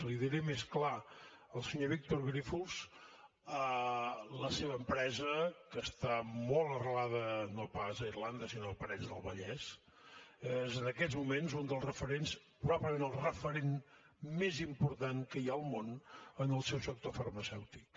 l’hi diré més clar el senyor víctor grífols la seva empresa que està molt arrelada no pas a irlanda sinó a parets del vallès és en aquests moments un dels referents probablement el referent més important que hi ha al món en el seu sector farmacèutic